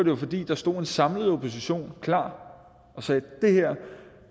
jo fordi der stod en samlet opposition klar og sagde